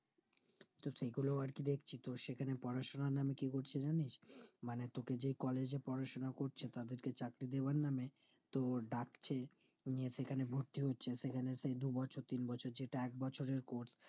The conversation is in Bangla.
তো কি করে আরকি দেখছি সেখানে পড়াশোনার নাম কি করছে জানিস? মানে তোকে যে collage এ পড়াশোনা করছে তাদেরকে চক্রীদেবার নাম তোর ডাকছে দিয়ে সেখানে ভর্তি হচ্ছে সেখানে সেই দুবছর তিনবছর যেটা একবছরের course